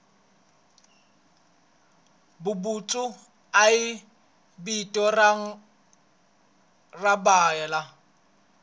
vuputsu i vito rinwani ra byala